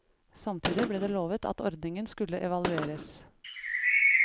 Samtidig ble det lovet at ordningen skulle evalueres.